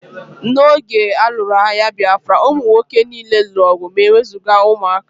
N'oge a lụrụ agha Bịafra, ụmụ nwoke niile lụrụ ọgụ ma e wezụga ụmụaka